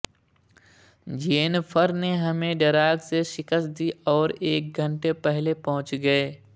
Jennifer نے ہمیں ڈراگ سے شکست دی اور ایک گھنٹے پہلے پہنچ گئے